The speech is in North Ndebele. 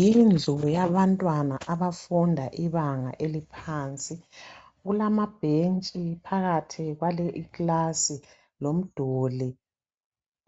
Yindlu yabantwana abafunda ibanga eliphansi .Kulamabhentshi phakathi kwale ikilasi lomduli